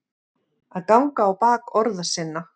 Að ganga á bak orða sinna